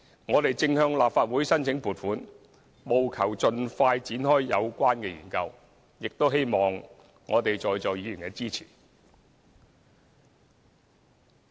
我們正向立法會申請撥款，務求盡快展開有關研究，亦希望在座的議員支持。